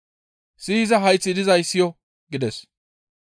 Siyiza hayththi dizay siyo!» gides.